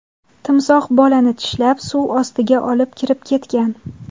Timsoh bolani tishlab, suv ostiga olib kirib ketgan.